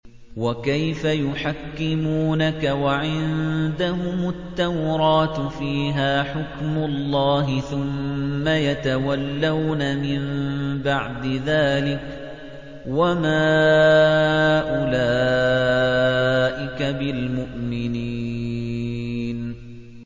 وَكَيْفَ يُحَكِّمُونَكَ وَعِندَهُمُ التَّوْرَاةُ فِيهَا حُكْمُ اللَّهِ ثُمَّ يَتَوَلَّوْنَ مِن بَعْدِ ذَٰلِكَ ۚ وَمَا أُولَٰئِكَ بِالْمُؤْمِنِينَ